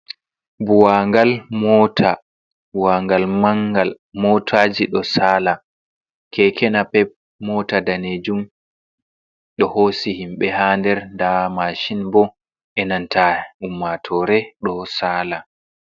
Buwagal mota buwangal mangal motaji do sala, kekena pep, mota danejum do hosi himbe ha nder da mashin bo enanta ummatore do sala.